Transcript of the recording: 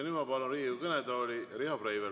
Nüüd ma palun Riigikogu kõnetooli Riho Breiveli.